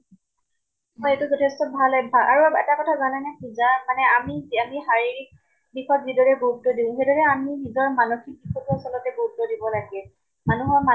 হয়। এইটো যথেষ্ট ভাল অভ্য়াস। আৰু এটা কথা জানেনে যাক মানে আমি আমি শাৰীৰিক দিশত যিদৰে গুৰুত্ব দিওঁ, সেইদৰে আমি নিজৰ মানসিক দিশতো আচলতে গুৰুত্ব দিব লাগে। মানুহৰ মান